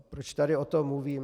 Proč tady o tom mluvím.